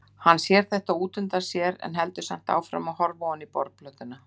Hann sér þetta útundan sér en heldur samt áfram að horfa ofan í borðplötuna.